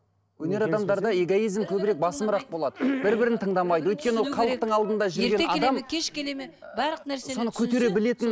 өнер адамдарда эгоизм көбірек басымырақ болады бір бірін тыңдамайды өйткені ол халықтың алдында жүрген адам кеш келеді ме барлық нәрсе соны көтере білетін